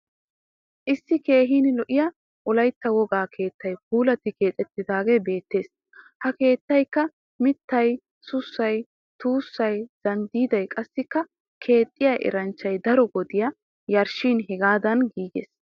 Issi keehin lo'iya wolaytta wogaa keettay puulati keexettidaagee beettees. Ha keettaykka mittay, sussay, tuussay, zanddiiday qassi keexxiya eranchchay daro wodiya yarshshin hagaadan giigiis.